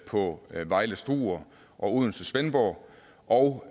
på vejle struer og odense svendborg og